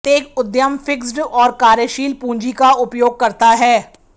प्रत्येक उद्यम फिक्स्ड और कार्यशील पूंजी का उपयोग करता है